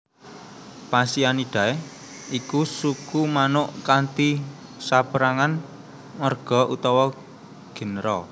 Phasianidae iku suku manuk kanthi sapérangan marga utawa genera